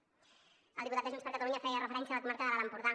el diputat de junts per catalunya feia referència a la comarca de l’alt empordà